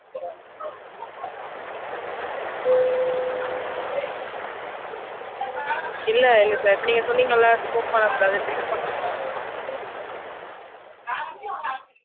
இல்ல இல்ல sir நீங்க சொன்னீங்கள smoke பண்ணக்கூடாது drink பண்ணக்கூடாதுனு